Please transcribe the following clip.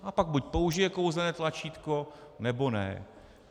A pak buď použije kouzelné tlačítko, nebo ne.